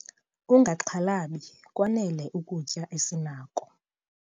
Ungaxhalabi kwanele ukutya esinako.